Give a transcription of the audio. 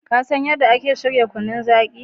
Ka san yadda ake shirya kunun zaki?